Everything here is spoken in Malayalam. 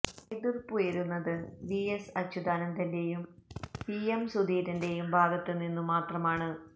എതിർപ്പുയരുന്നത് വി എസ് അച്യുതാനന്ദന്റെയും വി എം സുധീരന്റെയും ഭാഗത്ത് നിന്നു മാത്രമാണ്